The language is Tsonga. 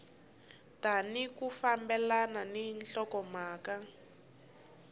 tali ku fambelana ni nhlokomhaka